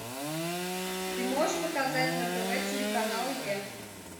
ты можешь показать на тв телеканал е